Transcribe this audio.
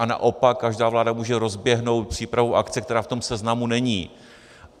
A naopak, každá vláda může rozběhnout přípravu akce, která v tom seznamu není.